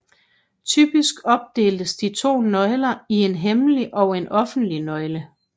Typisk opdeles de to nøgler i en hemmelig og en offentlig nøgle